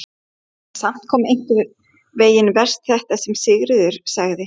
En samt einhvern veginn verst þetta sem Sigríður sagði.